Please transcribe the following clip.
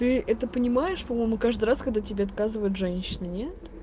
ты это понимаешь по-моему каждый раз когда тебе отказывают женщине